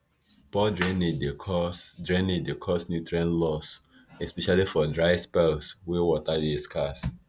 poor drainage dey cause drainage dey cause nutrient loss especially for dry spells wey water dey scarce